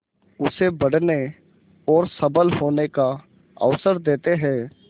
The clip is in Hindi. उसे बढ़ने और सबल होने का अवसर देते हैं